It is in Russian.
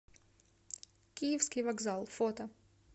киевский вокзал фото